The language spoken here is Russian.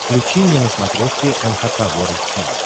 включи мне на смотрешке эн эйч кей волд ти ви